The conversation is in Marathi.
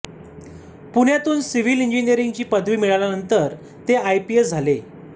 पुण्यातून सिव्हिल इंजिनिअरिंगची पदवी मिळविल्यानंतर ते आयपीएस झाले